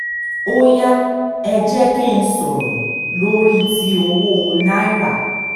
ó yá ẹ jẹ́ kí n sọ̀rọ̀ lórí ti owó náírà